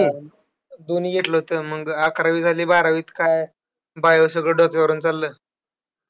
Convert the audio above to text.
दोन्ही घेतलं होतं. मग अकरावी झाली. बारावीत काय bio सगळं डोक्यावरनं चाललं.